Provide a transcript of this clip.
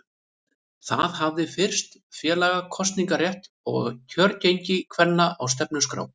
Það hafði fyrst félaga kosningarétt og kjörgengi kvenna á stefnuskrá.